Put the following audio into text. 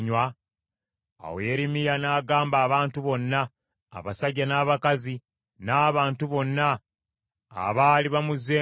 Awo Yeremiya n’agamba abantu bonna, abasajja n’abakazi n’abantu bonna abaali bamuzzeemu nti,